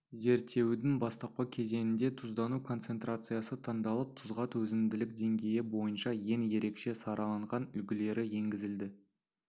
зерттеудің бастапқы кезеңінде тұздану концентрациясы таңдалып тұзға төзімділік деңгейі бойынша ең ерекше сараланған үлгілері енгізілді